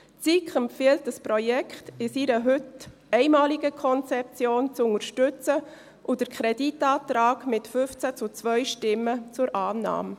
Die SiK empfiehlt, das Projekt in seiner heute einmaligen Konzeption zu unterstützen und den Kreditantrag mit 15 zu 2 Stimmen zur Annahme.